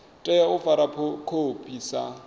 tea u fara khophi sa